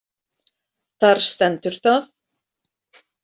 Þar stendur það.